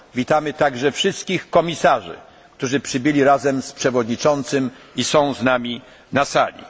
Witamy także wszystkich komisarzy, którzy przybyli razem z przewodniczącym i są z nami na sali.